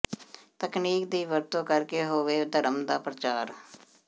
ਤਕਨੀਕ ਦੀ ਵਰਤੋਂ ਕਰ ਕੇ ਹੋਵੇ ਧਰਮ ਦਾ ਪ੍ਰਚਾਰ